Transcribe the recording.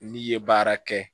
N'i ye baara kɛ